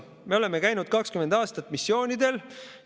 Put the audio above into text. Me oleme käinud 20 aastat missioonidel.